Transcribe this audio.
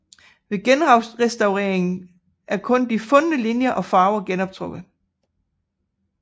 Ved genrestaueringen er kun de fundne linjer og farver genoptrukket